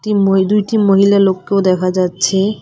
একটি মই দুইটি মহিলা লোককেও দেখা যাচ্ছে।